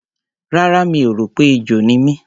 Rárá, mi ò rò pé ejò ni mí.